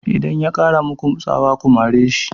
Idan ya ƙara maku tsawa ku mare shi!